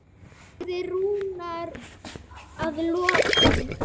sagði Rúnar að lokum.